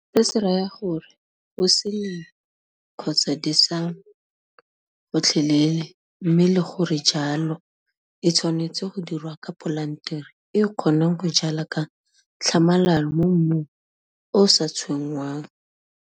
Se se raya gore go se lengwe kgotsa desa gotlhelele mme le gore jalo e tshwanetse go dirwa ka polantere e e kgonang go jala ka tlhamalalo mo mmung o o sa tshwenngwang.